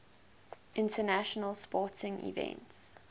international sporting events